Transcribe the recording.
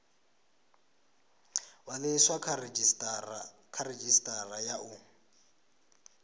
ṅwaliswa kha redzhisitara ya u